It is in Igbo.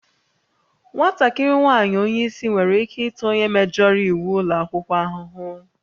Nwatakịrị nwaanyị onye isi nwere ike ịta onye mejọrọ iwu ụlọ akwụkwọ ahụhụ